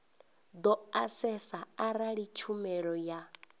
do asesa arali tshumelo ya